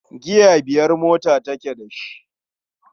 Giya biyar motar take da shi.